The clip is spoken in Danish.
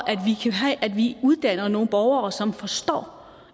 at vi uddanner nogle borgere som forstår